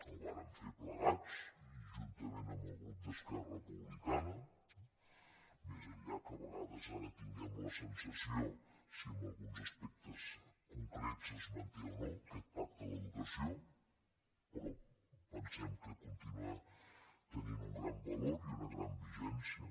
el vàrem fer plegats i juntament amb el grup d’esquerra republicana més enllà que a vegades ara tinguem la sensació si en alguns aspectes concrets es manté o no aquest pacte de l’educació però pensem que continua tenint un gran valor i una gran vigència